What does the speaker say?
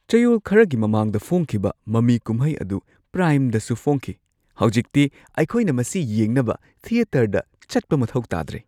ꯆꯌꯣꯜ ꯈꯔꯒꯤ ꯃꯃꯥꯡꯗ ꯐꯣꯡꯈꯤꯕ ꯃꯃꯤ ꯀꯨꯝꯍꯩ ꯑꯗꯨ ꯄ꯭ꯔꯥꯏꯝꯗꯁꯨ ꯐꯣꯡꯈꯤ꯫ ꯍꯧꯖꯤꯛꯇꯤ ꯑꯩꯈꯣꯏꯅ ꯃꯁꯤ ꯌꯦꯡꯅꯕ ꯊꯤꯌꯦꯇꯔꯗ ꯆꯠꯄ ꯃꯊꯧ ꯇꯥꯗ꯭ꯔꯦ!